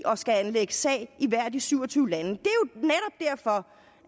og skal anlægge sag i hvert af de syv og tyve lande